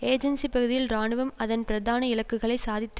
agency பகுதியில் இராணுவம் அதன் பிரதான இலக்குகளை சாதித்து